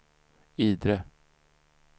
Idre